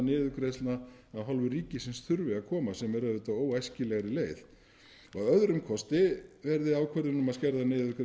niðurgreiðslna af hálfu ríkisins þurfi að koma sem er auðvitað óæskilegri leið að öðrum kosti verði ákvörðun um að skerða